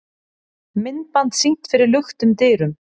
Myndband sýnt fyrir luktum dyrum